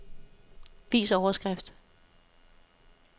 Vis overskrift.